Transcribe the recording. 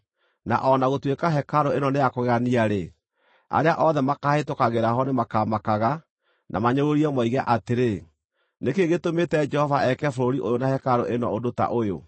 Na o na gũtuĩka hekarũ ĩno nĩ ya kũgegania-rĩ, arĩa othe makaahĩtũkagĩra ho nĩmakamakaga na manyũrũrie moige atĩrĩ, ‘Nĩ kĩĩ gĩtũmĩte Jehova eke bũrũri ũyũ na hekarũ ĩno ũndũ ta ũyũ?’